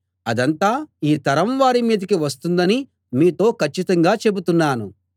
అదంతా ఈ తరం వారి మీదికి వస్తుందని మీతో కచ్చితంగా చెబుతున్నాను